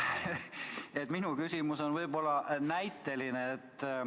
Minu küsimus on võib-olla näiteline.